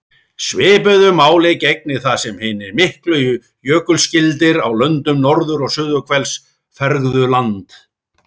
Svipuðu máli gegnir þar sem hinir miklu jökulskildir á löndum norður- og suðurhvels fergðu land.